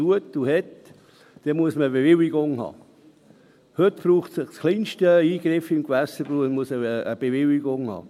Heute braucht es für den kleinsten Eingriff im Gewässer eine Bewilligung.